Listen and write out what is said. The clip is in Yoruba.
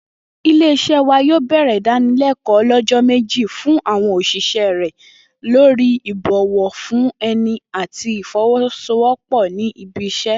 Ilé-is̩é̩ wa yó̩ò̩ bè̩rè̩ ìdánilé̩kò̩ó̩ o̩ló̩jó̩ méjì fún àwo̩n ò̩s̩ìs̩é̩ rè̩ lórí ìbò̩wo̩ fún e̩ni àti ìfo̩wó̩sowópò̩ ní ibi is̩é̩